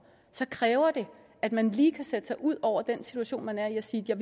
så kræver det at man lige kan sætte sig ud over den situation man er i og sige at